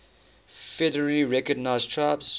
federally recognized tribes